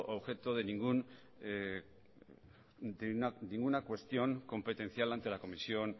objeto de ninguna cuestión competencial ante la comisión